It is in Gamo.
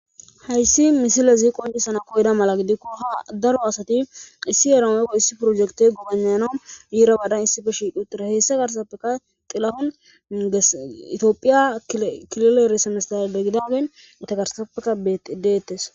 hayssi misilezi qoncisana koyeda mala gidikko ha daro asati issi eramomeko issi projekite gubanano yiira badan issife shiqutira heessa garsaappeka xilafon itiophiya kilileeresamesaadegidadeyn utagarsaappeka bedeettes